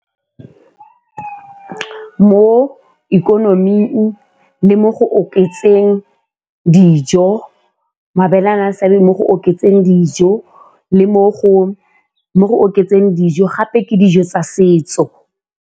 Mo ikonoming le mo go oketseng dijo, mabele a na le seabe mo go oketseng dijo le mo go oketseng dijo gape ke dijo tsa setso.